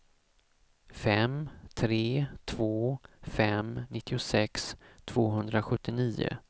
fem tre två fem nittiosex tvåhundrasjuttionio